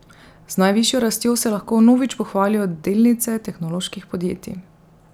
Z najvišjo rastjo se lahko vnovič pohvalijo delnice tehnoloških podjetij.